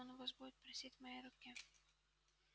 он у вас будет просить моей руки